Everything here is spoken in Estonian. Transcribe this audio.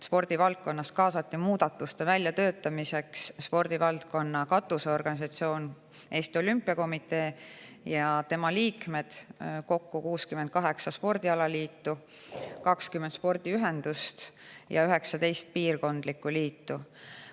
Spordivaldkonnas kaasati muudatuste väljatöötamiseks spordivaldkonna katusorganisatsioon Eesti Olümpiakomitee ja tema liikmed, kokku 68 spordialaliitu, 20 spordiühendust ja 19 piirkondlikku liitu.